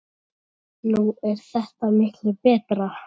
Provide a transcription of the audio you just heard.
Nú er þetta miklu betra.